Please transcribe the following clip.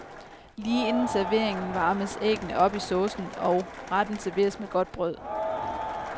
Lige inden serveringen varmes æggene op i saucen, og retten serveres med godt brød.